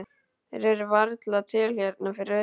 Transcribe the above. Þeir eru varla til hérna fyrir austan.